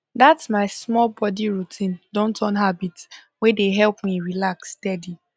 that my small body routine don turn habit wey dey help me relax steady